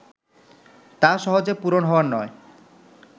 তা সহজে পূরণ হওয়ার নয়